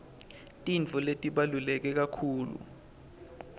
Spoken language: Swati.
tintfo letibaluleke kakhulu